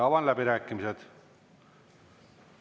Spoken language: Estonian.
Avan läbirääkimised.